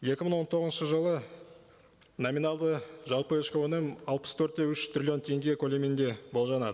екі мың он тоғызыншы жылы номиналды жалпы ішкі өнім алпыс төрт те үш триллион теңге көлемінде болжанады